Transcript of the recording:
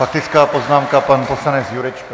Faktická poznámka - pan poslanec Jurečka.